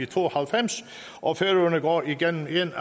to og halvfems og færøerne af hvor